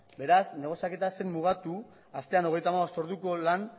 beraz negoziaketa ez zen mugatu astean hogeita hamabost orduko lan